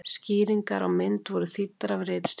Skýringar á mynd voru þýddar af ritstjórn.